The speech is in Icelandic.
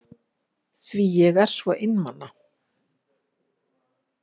Því ég er svo einmana.